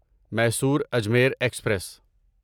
Mysore Ajmer express